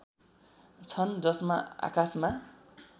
छन् जसमा आकाशमा